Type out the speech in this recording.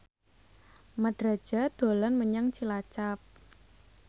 Mat Drajat dolan menyang Cilacap